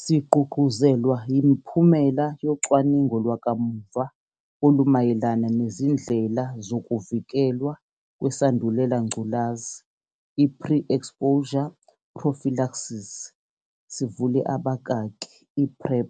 Sigqugquzelwa yimiphumela yocwaningo lwakamuva olumayelana nezindlela zokuvikelwa kweSandulela ngculazi ipre-exposure prophylaxis, i-PrEP.